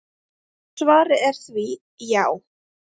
Og svarið er því: já.